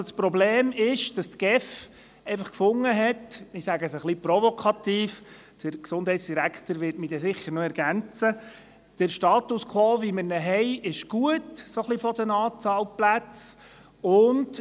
Das Problem ist – ich sage es etwas provokativ, und der Gesundheitsdirektor wird mich sicher noch ergänzen –, dass die GEF fand, der Status quo sei bezüglich der Anzahl Betreuungsplätze gut.